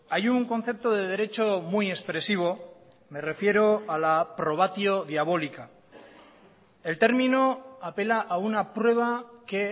hay un concepto de derecho muy expresivo me refiero a la probatio diabolica el término apela a una prueba que